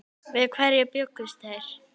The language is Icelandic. Við hverju bjuggust þeir?